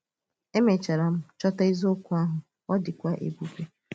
Èmechàrà m chọ̀tà eziokwu ahụ, ọ dịkwa èbùbè!